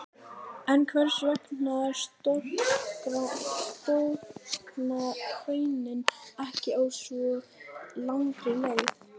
En hvers vegna storkna hraunin ekki á svo langri leið?